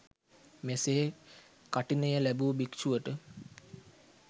මෙසේ කඨිනය ලැබූ භික්‍ෂුවට